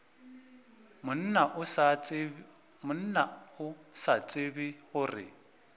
monna o sa tsebe gore